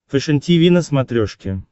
фэшен тиви на смотрешке